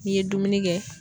N'i ye dumuni kɛ